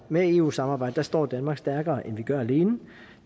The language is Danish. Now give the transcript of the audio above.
med eu samarbejdet står danmark stærkere end vi gør alene